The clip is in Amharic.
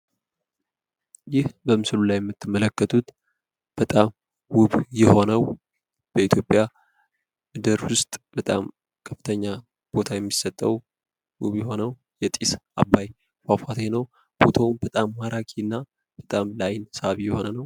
ይህ በምስሉ ላይ የምትመለከቱት በጣም ውብ የሆነውን፣ በኢትዮጵያ የሚገኘውን የጢስ አባይ ፏፏቴ ነው። ፎቶው በጣም ማራኪና ለአይን ሳቢ የሆነ ነው።